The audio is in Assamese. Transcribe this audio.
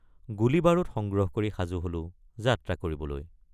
গুলীবাৰুদ সংগ্ৰহ কৰি সাজু হলোঁ যাত্ৰা কৰিবলৈ।